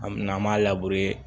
An mɛna an m'a